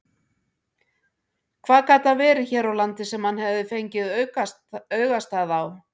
Hvað gat það verið hér á landi sem hann hafði fengið augastað á?